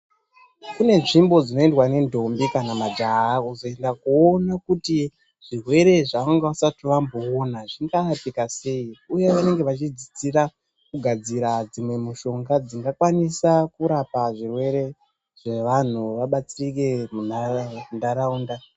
Kune nzvimbo dzinoendwa nendombi kana majaha kuzoenda kundoona kuti zvirwere zvaanga vasati vamboona zvingarapika sei uye vanenge vachidzidzira kugadzira dzimwe mishonga dzingakwanisa kurapa zvirwere zvevanhu vabatsirike munharaunda